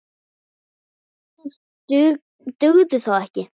Það dugði þó ekki.